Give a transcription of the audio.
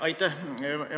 Aitäh!